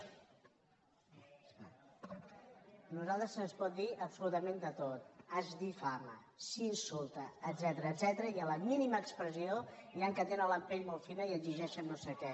a nosaltres se’ns pot dir absolutament de tot es difama s’insulta etcètera i a la mínima expressió n’hi ha que tenen la pell molt fina i exigeixen no sé què